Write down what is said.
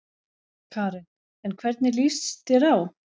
Karen: En hvernig lýst þér á?